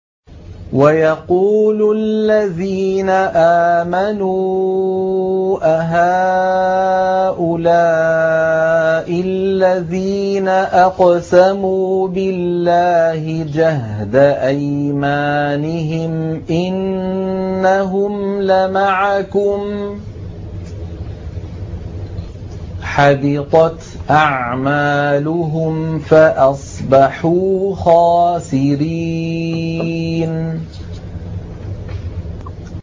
وَيَقُولُ الَّذِينَ آمَنُوا أَهَٰؤُلَاءِ الَّذِينَ أَقْسَمُوا بِاللَّهِ جَهْدَ أَيْمَانِهِمْ ۙ إِنَّهُمْ لَمَعَكُمْ ۚ حَبِطَتْ أَعْمَالُهُمْ فَأَصْبَحُوا خَاسِرِينَ